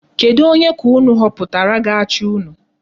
Kedu Onye ka unu họpụtara ga-achị unu?